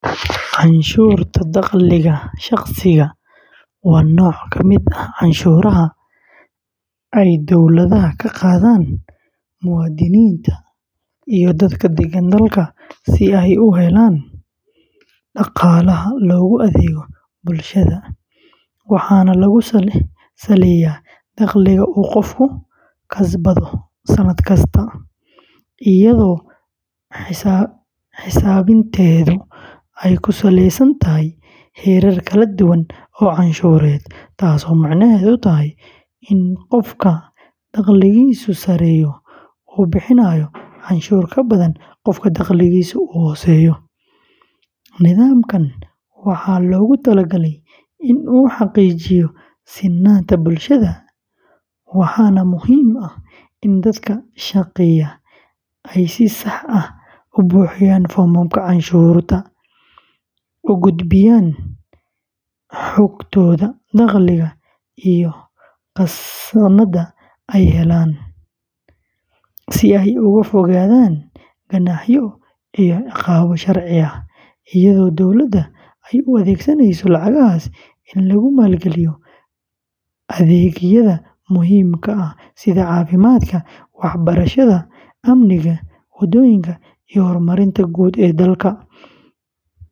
Canshuurta dakhliga shaqsiga, waa nooc ka mid ah canshuuraha ay dawladaha ka qaadaan muwaadiniinta iyo dadka degan dalka si ay u helaan dhaqaalaha loogu adeego bulshada, waxaana lagu saleyaa dakhliga uu qofku kasbado sannad kasta, iyadoo xisaabinteedu ay ku saleysan tahay heerar kala duwan oo canshuureed, taasoo micnaheedu yahay in qofka dakhligiisu sarreeyo uu bixinayo canshuur ka badan qofka dakhligiisu hooseeyo; nidaamkan waxaa loogu talagalay in uu xaqiijiyo sinnaanta bulshada, waxaana muhiim ah in dadka shaqeeya ay si sax ah u buuxiyaan foomamka canshuurta, u gudbiyaan xogtooda dakhliga iyo khasnaadda ay heleen, si ay uga fogaadaan ganaaxyo iyo ciqaabo sharci ah, iyadoo dowladda ay u adeegsanayso lacagahaas in lagu maalgaliyo adeegyada muhiimka ah sida caafimaadka, waxbarashada, amniga, wadooyinka, iyo horumarinta guud ee dalka.